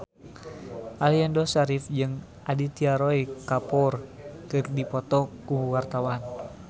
Aliando Syarif jeung Aditya Roy Kapoor keur dipoto ku wartawan